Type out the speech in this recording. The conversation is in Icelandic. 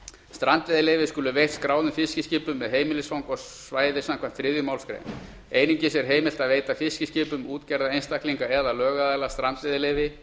strandveiðileyfi skulu veitt skráðum fiskiskipum með heimilisfang á svæði samkvæmt þriðju málsgrein einungis er heimilt að veita fiskiskipum útgerða einstaklinga eða lögaðila strandveiðileyfi